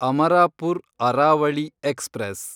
Amarapur Aravali express